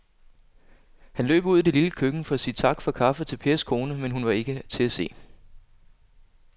Han løb ud i det lille køkken for at sige tak for kaffe til Pers kone, men hun var ikke til at se.